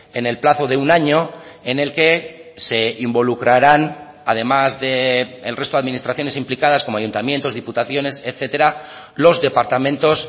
en el plazo de un año en el que se involucrarán además del resto de administraciones implicadas como ayuntamientos diputaciones etcétera los departamentos